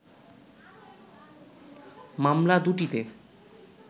মামলা দুটিতে